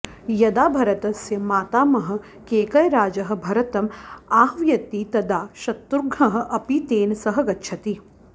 यदा भरतस्य मातामहः केकयराजः भरतम् आह्वयति तदा शत्रुघ्नः अपि तेन सह गच्छति